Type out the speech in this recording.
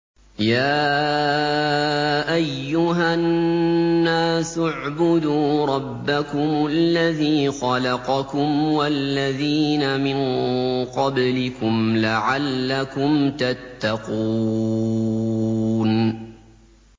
يَا أَيُّهَا النَّاسُ اعْبُدُوا رَبَّكُمُ الَّذِي خَلَقَكُمْ وَالَّذِينَ مِن قَبْلِكُمْ لَعَلَّكُمْ تَتَّقُونَ